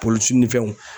Polisi ni fɛnw